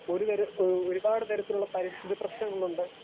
Speaker 2 ഒരുതര ഒരുപാട് തരത്തിലുള്ള പരിസ്ഥിതി പ്രശ്നങ്ങൾ ഉണ്ട്.